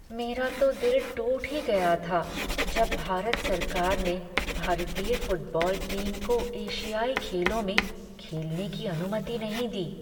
मेरा तो दिल टूट ही गया था जब भारत सरकार ने भारतीय फुटबॉल टीम को एशियाई खेलों में खेलने की अनुमति नहीं दी।